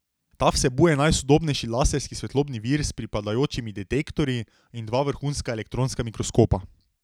Ta vsebuje najsodobnejši laserski svetlobni vir s pripadajočimi detektorji in dva vrhunska elektronska mikroskopa.